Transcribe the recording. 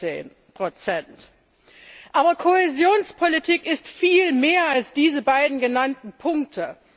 16 Aber Kohäsionspolitik ist viel mehr als diese beiden genannten Punkte.